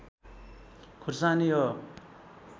खुर्सानी हो